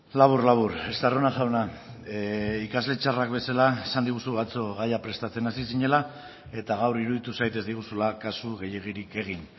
labur labur estarrona jauna ikasle txarrak bezala esan diguzu atzo gaia prestatzen hasi zinela eta gaur iruditu zait ez diguzula kasu gehiegirik egin